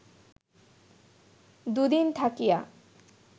দুদিন থাকিয়া